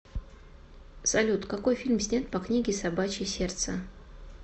салют какои фильм снят по книге собачье сердце